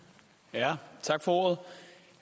er